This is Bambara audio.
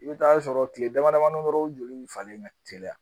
I bɛ taa sɔrɔ tile damadamanin dɔrɔn joli bɛ falen ka teliya